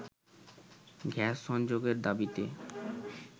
gas সংযোগের দাবিতে